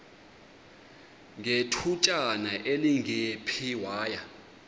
ngethutyana elingephi waya